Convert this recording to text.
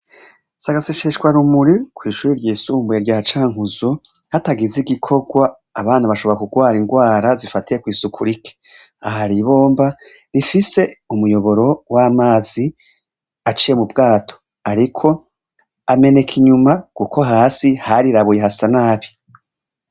Si gaseseshwa rumuri kwishure ry'isumbuye rya Cankuzo hatagize igikorwa , abana bashobora kurwara ingwara zifatiye kwisuku rike, aha hari ibomba rifise umuyoboro wamazi aciye mubwato ariko ameneka inyuma kuko hasi harirabuye hasa nabi.